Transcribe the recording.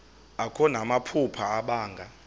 akho namaphupha abanga